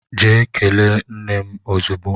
Gaa kelee nne m ozugbo!